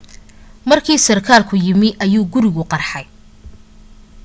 markii sarkaalku yimi ayuu gurigu qarxay